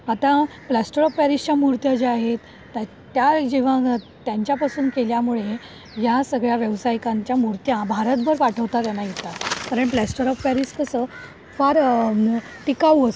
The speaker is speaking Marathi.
आता प्लास्टर ऑफ पॅरिसच्या मूर्त्या ज्या आहेत त्या जेव्हा त्यांच्या पासून केल्यामुळे या सगळ्या व्यावसायिकांच्या मूर्त्या भारतभर पाठवता त्यांना येतात कारण कसं प्लास्टर ऑफ पॅरिस कसं फार टिकाऊ असतं.